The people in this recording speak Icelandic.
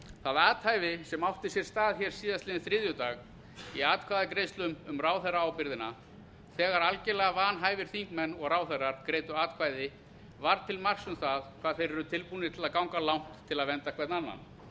það athæfi sem átti sér stað hér á þriðjudaginn í atkvæðagreiðslunum um ráðherraábyrgðina þegar algerlega vanhæfir þingmenn og ráðherrar greiddu atkvæði var til marks um það hvað þeir eru tilbúnir til að ganga langt til að vernda hver